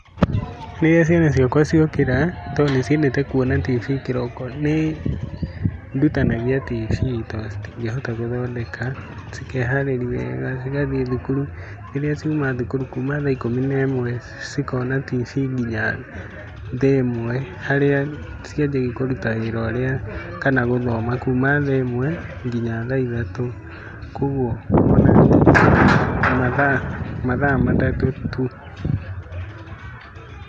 Rĩrĩa ciana ciakwa ciokĩra, tondũ nĩ ciendete kuona TV kĩroko, nĩ ndutanagia TV tondũ citingĩhota gũthondeka, cikeharĩria wega cigathiĩ thukuru, rĩrĩa ciauma thukuru kuma thaa ikũmi na ĩmwe, cikona TV nginya thaa ĩmwe, harĩa cigĩthiĩ kũruta wĩra ũrĩa, kana gũthoma, kuma thaa ĩmwe, nginya thaa ithatũ koguo mathaa matatũ tu.